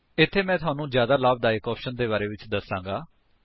ਇੱਥੇ ਮੈਂ ਤੁਹਾਨੂੰ ਜ਼ਿਆਦਾ ਲਾਭਦਾਇਕ ਆਪਸ਼ਨਸ ਦੇ ਬਾਰੇ ਵਿੱਚ ਦਸਾਂਗਾ